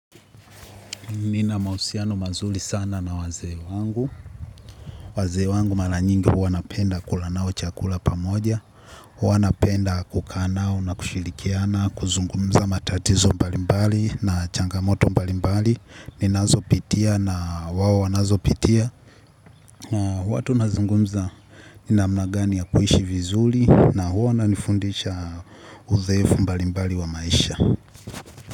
Nina mahusiano mazuri sana na wazee wangu. Wazee wangu mara nyingi huwa napenda kula nao chakula pamoja. Huwa napenda kukaa nao na kushilrikiana, kuzungumza matatizo mbalimbali na changamoto mbalimbali. Ninazopitia na wao wanazopitia. Na huwa tunazungumza ni namna gani ya kuishi vizuri na huwa wanifundisha uzoefu mbalimbali wa maisha.